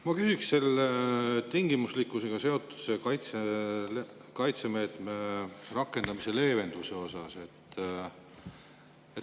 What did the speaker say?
Ma küsin tingimuslikkusega seotud kaitsemeetme rakendamise leevenduse kohta.